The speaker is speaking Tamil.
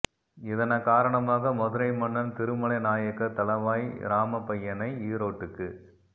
இதன காரணமாக மதுரை மன்னன் திருமலை நாயக்கர் தளவாய் இராமப்பய்யனை ஈரோட்டுக்கு